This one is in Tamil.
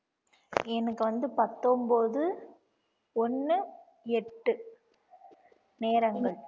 எனக்கு வந்து பத்தொன்பது ஒண்ணு எட்டு நேரங்கள்